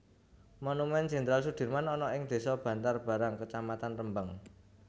Monumen Jenderal Soedirman ana ing desa Bantarbarang kecamatan Rembang